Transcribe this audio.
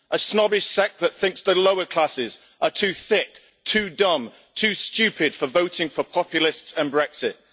A snobbish sect that thinks the lower classes are too thick, too dumb, too stupid, for voting for populists and Brexit.